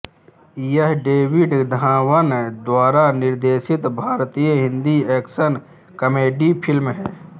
यह डेविड धवन द्वारा निर्देशित भारतीय हिंदी एक्शन कॉमेडी फिल्म है